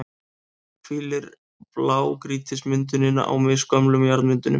hvílir blágrýtismyndunin á misgömlum jarðmyndunum.